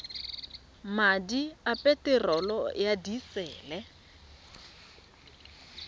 madi a peterolo ya disele